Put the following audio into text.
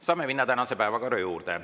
Saame minna tänase päevakorra juurde.